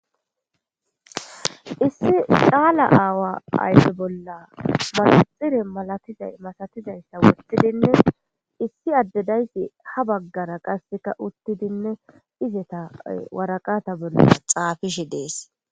Issi caala aawa ayfe bolla manaxire masatizayssa woththidinne issi adde dayssi ha baggara qasse uttidinne izeta waraqata bolla xaafishe dees.